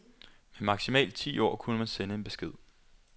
Med maksimalt ti ord kunne man sende en besked.